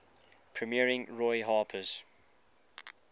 premiering roy harper's